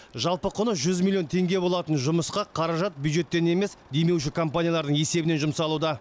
жалпы құны жүз миллион теңге болатын жұмысқа қаражат бюджеттен емес демеуші компаниялардың есебінен жұмсалуда